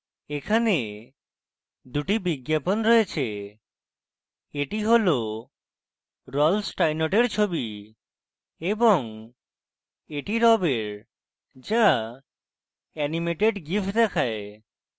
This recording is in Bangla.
এখানে দুটি বিজ্ঞাপন রয়েছে এটি রল্ফ স্টাইনর্টের ছবি এবং এটি rob এর যা অ্যানিমেটেড gif দেখায়